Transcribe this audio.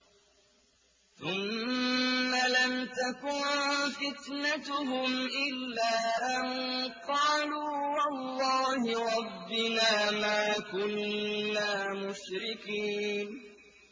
ثُمَّ لَمْ تَكُن فِتْنَتُهُمْ إِلَّا أَن قَالُوا وَاللَّهِ رَبِّنَا مَا كُنَّا مُشْرِكِينَ